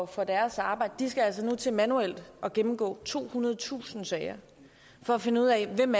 for deres arbejde skal altså nu til manuelt at gennemgå tohundredetusind sager for at finde ud af hvem